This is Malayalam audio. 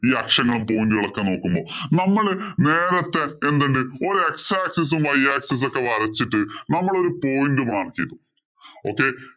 ഈ അക്ഷങ്ങളും, point ഉകളും ഒക്കെ നോക്കുമ്പോ നമ്മള് നേരത്തെ എന്തിണ്ട് ഒരു x axis ഉം y axis ഒക്കെ വരച്ചിട്ടു നമ്മള്‍ ഒരു point mark ചെയ്തു okay